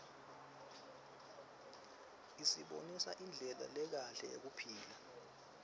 isibonisa indlela lekahle yekuphila